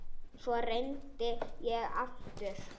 Svo reyndi ég aftur.